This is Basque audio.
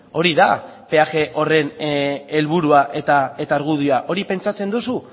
hori da peaje horren helburua eta argudioa hori pentsatzen duzu